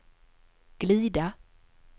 glida